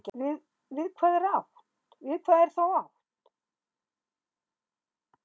Við hvað er þá átt?